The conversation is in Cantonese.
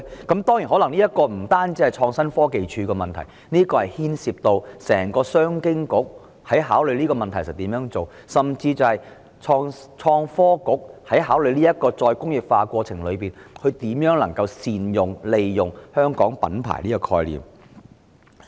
當然，這可能不單是創科署的問題，亦牽涉到商務及經濟發展局的整體政策，甚至是創新及科技局考慮推進再工業化的過程中，如何能善用香港品牌這個概念。